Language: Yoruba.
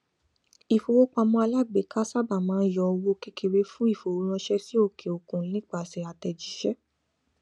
ifowópamọ alágbèéká sáábà máa ń yọ owó kékeré fún ifowóránṣẹ sí òkèòkun nípasẹ àtẹjíṣẹ